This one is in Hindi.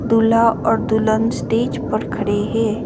दूल्हा और दुल्हन स्टेज पर खड़े है।